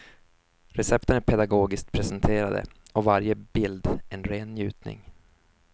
Recepten är pedagogiskt presenterade och varje bild en ren njutning.